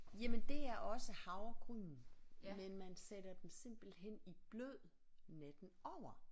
Jamen det er også havregryn men man sætter dem simpelthen i blød natten over